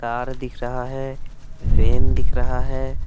तार दिख रहा है रेन दिख रहा है।